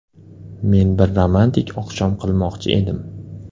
Men bir romantik oqshom qilmoqchi edim.